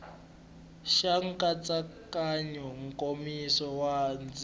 xa nkatsakanyo nkomiso wa ndzima